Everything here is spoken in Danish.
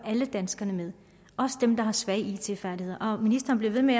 alle danskerne med også dem der har svage it færdigheder ministeren bliver ved med